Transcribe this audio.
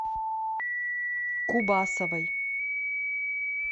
кубасовой